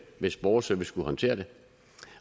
hvis borgerservice skulle håndtere det